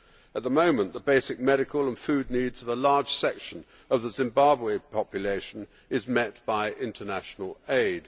At the moment the basic medical and food needs of a large section of the Zimbabwean population are met by international aid.